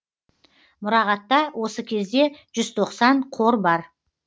мұрағатта осы кезде жүз тоқсан қор бар